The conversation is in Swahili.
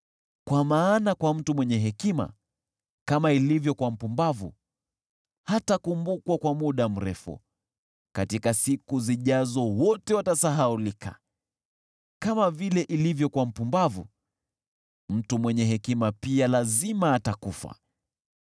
Kwa maana kwa mtu mwenye hekima, kama ilivyo kwa mpumbavu, hatakumbukwa kwa muda mrefu, katika siku zijazo wote watasahaulika. Kama vile ilivyo kwa mpumbavu, mtu mwenye hekima pia lazima atakufa!